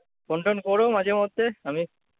phone tone কোরো মাঝেমধ্যে আমি